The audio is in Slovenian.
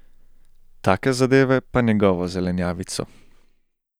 Take zadeve pa njegovo zelenjavico.